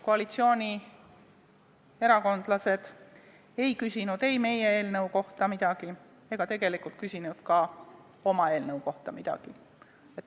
Koalitsioonierakondlased ei küsinud meie eelnõu kohta midagi ja ei küsinud ka oma eelnõu kohta midagi.